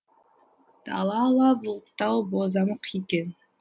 дала ала бұлттау бозамық екен